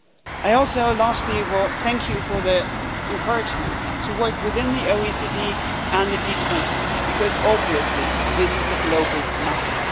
stake. I also, lastly, thank you for the encouragement to work within the OECD and the G20, because obviously this is a global